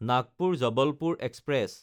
Nagpur-Jabalpur express